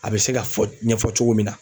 A bɛ se ka fɔ ɲɛfɔ cogo min na